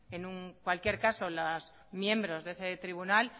en cualquier caso los miembros de ese tribunal